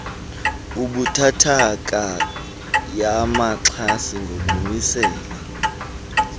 ebuthathaka yabaxhasi ngokumisela